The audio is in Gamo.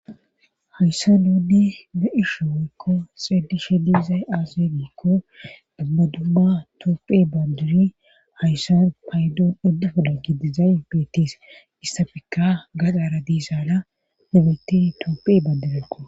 Hayssan dude da7isho weykko xeedishe diizay aase gikko abbadumma toopphe banduri hayssan paydoon uddufela gidizay beetis issafekka gadaara diisaana nibeti toopphe baandirekko.